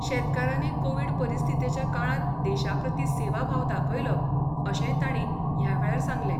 शेतकारांनी कोवीड परिस्थितीच्या काळांत देशा प्रती सेवा भाव दाखयलो अशेंय तांणी ह्या वेळार सांगलें.